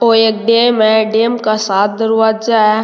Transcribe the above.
ओ एक डेम है डेम का सात दरवाजा है।